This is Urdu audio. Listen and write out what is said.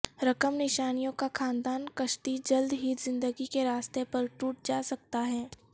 رقم نشانیوں کا خاندان کشتی جلد ہی زندگی کے راستے پر ٹوٹ جا سکتا ہے